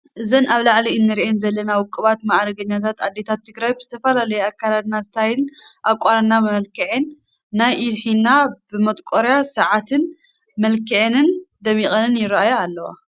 እዘን ኣብ ላዓሊ እንሪአን ዘለና ውቅባትን ማእርገኛታትን ኣዴታት ትግራይና ብዝተፈለለየ ኣከዳድና, ስታይል ኣቋንና, መመላኽዔ ናይ ኢድ ሒና ብመጥቆርያን ሳዓትን መልኪዐንን ደሚቀንን ይራኣያ ኣለዋ።